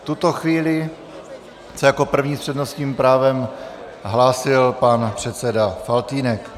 V tuto chvíli se jako první s přednostním právem hlásil pan předseda Faltýnek.